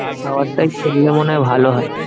খাওয়ার টাই করলে মনে হয় ভালো হয়।